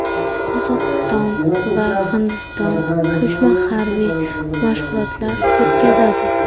Qozog‘iston va Hindiston qo‘shma harbiy mashg‘ulotlar o‘tkazadi.